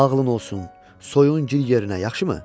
Ağlın olsun, soyun gir yerinə, yaxşımı?